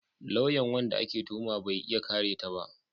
Lauyan wanda ake tuhuma bai iya kare ta ba